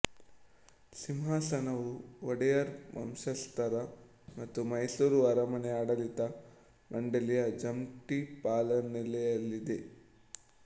ಸಿಂಹಾಸನವು ಒಡೆಯರ್ ವಂಶಸ್ಥರ ಮತ್ತು ಮೈಸೂರು ಅರಮನೆ ಆಡಳಿತ ಮಂಡಳಿಯ ಜಂಟಿ ಪಾಲನೆಯಲ್ಲಿದೆ